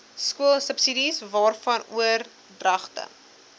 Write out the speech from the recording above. skoolsubsidies waarvan oordragte